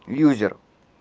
юзер